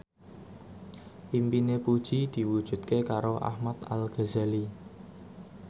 impine Puji diwujudke karo Ahmad Al Ghazali